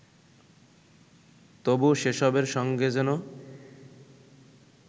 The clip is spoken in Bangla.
তবু সেসবের সঙ্গে যেন